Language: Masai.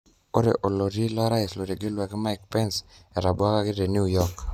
Ore oloti lorais otegelwaki Mike Pence etabwakaki te New York.